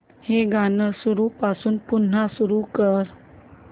हे गाणं सुरूपासून पुन्हा सुरू कर